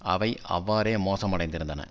அவை அவ்வாறே மோசமடைந்திருந்தன